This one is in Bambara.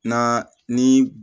Na ni